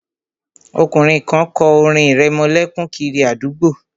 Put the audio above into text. Ọkùnrin kan kọ orin ìrẹmọlẹ́kún kiri àdúgbò náà